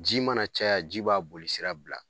Ji mana caya ji b'a boli sira bila;